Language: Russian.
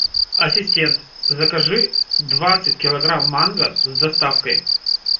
ассистент закажи двадцать килограмм манго с доставкой